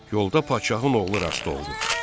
Yolda padşahın oğlu rast oldu.